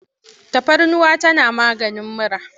Tafarnuwa tana maganin mura.